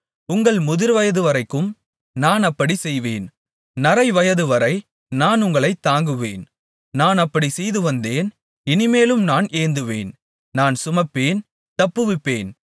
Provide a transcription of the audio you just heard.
உங்கள் முதிர்வயதுவரைக்கும் நான் அப்படிச் செய்வேன் நரைவயதுவரை நான் உங்களைத் தாங்குவேன் நான் அப்படிச் செய்துவந்தேன் இனிமேலும் நான் ஏந்துவேன் நான் சுமப்பேன் தப்புவிப்பேன்